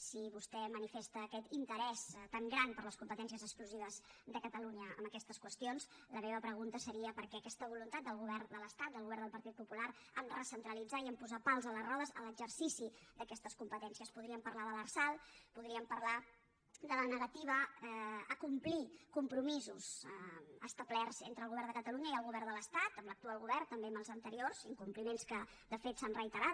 si vostè manifesta aquest interès tan gran per a les competències exclusives de catalunya en aquestes qüestions la meva pregunta seria per què aquesta voluntat del govern de l’estat del govern del partit popular a recentralitzar i a posar pals a les rodes en l’exercici d’aquestes competències podríem parlar de l’lrsal podríem parlar de la negativa a complir compromisos establerts entre el govern de catalunya i el govern de l’estat amb l’actual govern també amb els anteriors incompliments que de fet s’han reiterat